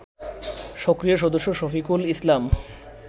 সক্রিয় সদস্য শফিকুল ইসলাম